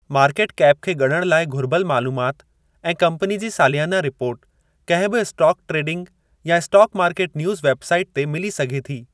Market cap खे ॻणण लाइ घुर्बल मालूमात ऐं कम्पनी जी सालियाना रिपोर्ट कंहिं बि स्टाक-ट्रेडिंग या stock market news website ते मिली सघे थी।